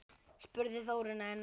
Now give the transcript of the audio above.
spurði Þórunn enn.